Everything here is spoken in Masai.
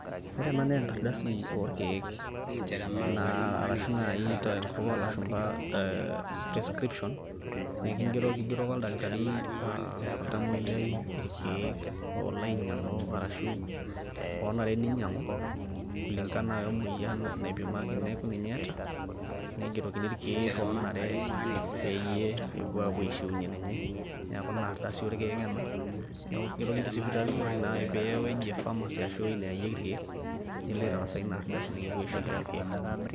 ore ena naa engardasi oorkeek arashu naaji tenkuk oolashu description nikigeroki oldakitari oltamoyiai irkeek oolo ainyiang'u ,kul ingana wemoyian napimaki neeku ninye eeta negerokini irkeek oonare pee epuo aishunye ninye, neeku inardasi oorkeek ena neeku ekingerokini tesipitali ore naa piya eweji e pharmacy ashu eweji neyayieki ikeek nilo aitasaa ina ardasi nikipoi aisho irkeek.